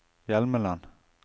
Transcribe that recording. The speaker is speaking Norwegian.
Hjelmeland